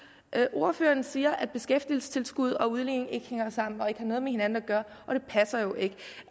ordføreren siger at beskæftigelsestilskud og udligning ikke hænger sammen og ikke har noget med hinanden at gøre